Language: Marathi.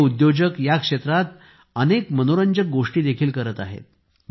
हे उद्योजक या क्षेत्रात अनेक मनोरंजक गोष्टी देखील करत आहेत